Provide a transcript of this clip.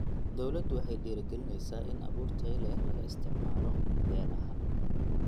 Dawladdu waxay dhiirigelinaysaa in abuur tayo leh laga isticmaalo beeraha.